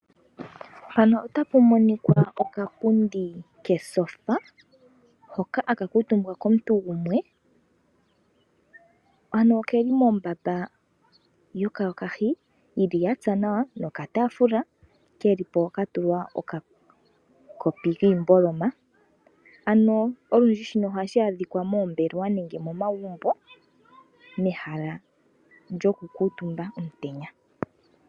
Mpano otapu monikwa okapundi ketyofa hoka haka kuutumbwa komuntu gumwe. Ano okeli mombaba yokayokahi yili yatsa nawa noka taafula keli po ka tulwa okakopi kiimboloma. Ano olundji shino ohashi adhikwa moombelewa nenge momagumbo mehala lyoku kuutumba omutenya.